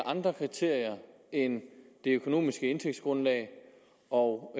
andre kriterier end det økonomiske indtægtsgrundlag og